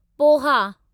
poha